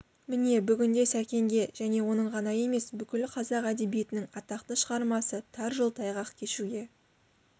міне бүгінде сәкенге және оның ғана емес бүкіл қазақ әдебиетінің атақты шығармасы тар жол тайғақ кешуге